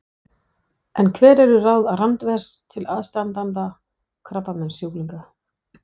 En hver eru ráð Randvers til aðstandanda krabbameinssjúklinga?